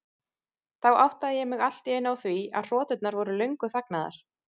Þá áttaði ég mig allt í einu á því að hroturnar voru löngu þagnaðar.